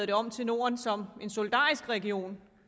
det om til norden som en solidarisk region